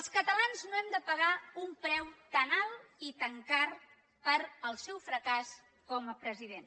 els catalans no hem de pagar un preu tan alt i tan car pel seu fracàs com a president